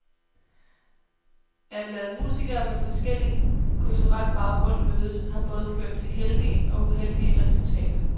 At lade musikere med forskellig kulturel baggrund mødes har både ført til heldige og uheldige resultater.